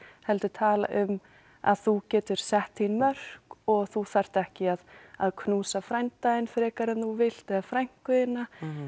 heldur tala um að þú getur sett þín mörk og þú þarft ekki að að knúsa frænda þinn frekar en þú vilt eða frænku þína